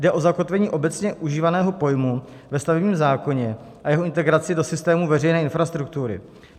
Jde o zakotvení obecně užívaného pojmu ve stavebním zákoně a jeho integraci do systému veřejné infrastruktury.